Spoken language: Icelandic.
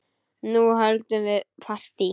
Nú höldum við partí!